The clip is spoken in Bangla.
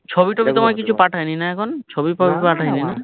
ছবি টবি তোমায় কিছু পাঠাইনি না এখন ছবি টোবি পাঠাইনি না